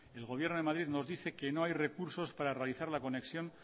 el gobierno de madrid nos dice que no hay recursos para realizar la conexión